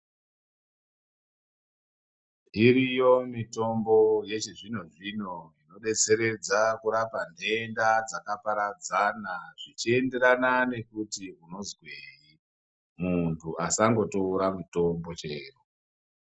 Dziriyo mitombo yechizvino zvino ino detseredza kurapa denda dzaka paradzana zvichi enderana nekuti unozwei muntu asango tora mitombo chero.